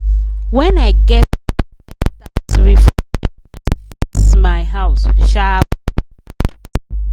when i get surprise tax refund i use am fix my house sharp-sharp.